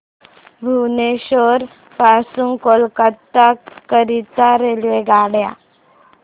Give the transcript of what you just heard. भुवनेश्वर पासून कोलकाता करीता रेल्वेगाड्या